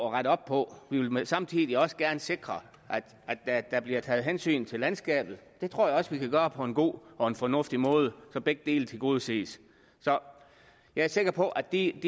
at rette op på vi vil samtidig også gerne sikre at der bliver taget hensyn til landskabet det tror jeg også vi kan gøre på en god og fornuftig måde så begge dele tilgodeses så jeg er sikker på at de